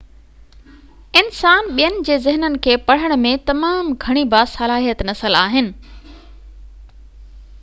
انسان ٻين جي ذهنن کي پڙهڻ ۾ تمام گهڻي باصلاحيت نسل آهن